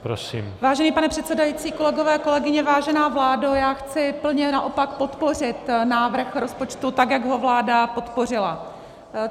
Vážený pane předsedající, kolegové, kolegyně, vážená vládo, Já chci plně naopak podpořit návrh rozpočtu, tak jak ho vláda podpořila.